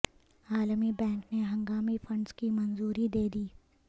عالمی بینک نے ہنگامی فنڈز کی منظوری دے دی